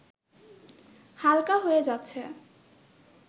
হালকা হয়ে যাচ্ছে